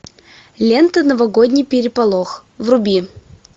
лента новогодний переполох вруби